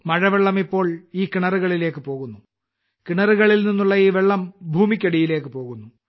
മഴവെള്ളം ഇപ്പോൾ ഈ കിണറുകളിലേക്ക് പോകുന്നു കിണറുകളിൽ നിന്നുള്ള ഈ വെള്ളം ഭൂമിയ്ക്കടിയിലേക്ക് പോകുന്നു